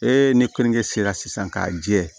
E ni kɔɲɔkɛ sera sisan k'a jɛ